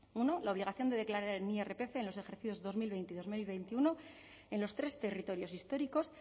uno la obligación de declarar el iprf en los ejercicios dos mil veinte y dos mil veintiuno en los tres territorios históricos